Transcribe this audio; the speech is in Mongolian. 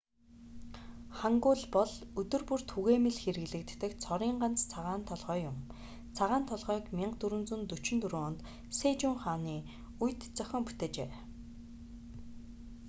хангул бол өдөр бүр түгээмэл хэрэглэгддэг цорын ганц цагаан толгойн юм. цагаан толгойг 1444 онд сэжун хааны 1418 - 1450 үед зохион бүтээжээ